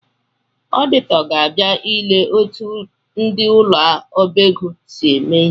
Ọdịtọ ga-abia ile etu ndị ụ̣lọọbaego si eme ihe